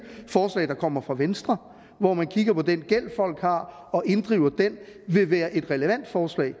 forslag der kommer fra venstre hvor man kigger på den gæld folk har og inddriver den ville være et relevant forslag